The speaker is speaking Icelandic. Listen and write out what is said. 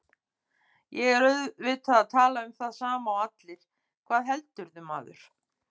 Ég er auðvitað að tala um það sama og allir, hvað heldurðu, maður?